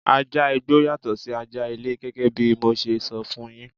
Ajá igbó yàtọ̀ sí ajá ilé gẹ́gẹ́ bí mo ṣe sọ fún yín.